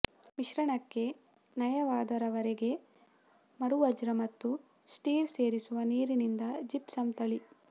ಮಿಶ್ರಣಕ್ಕೆ ನಯವಾದ ರವರೆಗೆ ಮರವಜ್ರ ಮತ್ತು ಸ್ಟಿರ್ ಸೇರಿಸುವ ನೀರಿನಿಂದ ಜಿಪ್ಸಮ್ ತಳಿ